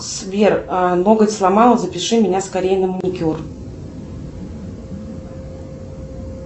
сбер ноготь сломала запиши меня скорей на маникюр